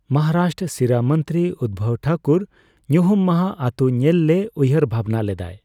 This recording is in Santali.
ᱢᱚᱦᱟᱨᱟᱥᱴᱨᱚ ᱥᱤᱨᱟᱹᱢᱚᱱᱛᱨᱤ ᱩᱫᱵᱷᱚᱵ ᱴᱷᱟᱠᱩᱨ ᱧᱩᱦᱩᱢ ᱢᱟᱦᱟ ᱟᱹᱛᱩ ᱧᱮᱞ ᱞᱮ ᱩᱭᱦᱟᱹᱨ ᱵᱷᱟᱵᱱᱟ ᱞᱮᱫᱟᱭ᱾